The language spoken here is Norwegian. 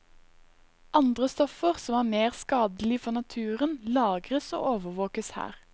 Andre stoffer som er mer skadelig for naturen, lagres og overvåkes her.